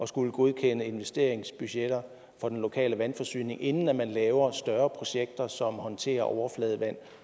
skulle godkende investeringsbudgetter for den lokale vandforsyning inden man laver større projekter som håndterer overfladevand